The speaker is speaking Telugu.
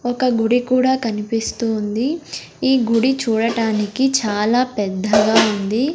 ఒక గుడి కూడా కనిపిస్తూ ఉంది ఈ గుడి చూడటానికి చాలా పెద్దగా ఉంది.